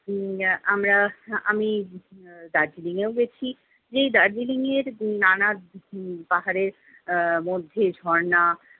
উম আমরা আমি আহ দার্জিলিং এও গেছি। এই দার্জিলিং এর নানা পাহাড়ের আহ মধ্যে ঝর্ণা